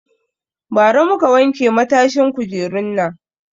Ba ra muka wanke matashin kujerun nan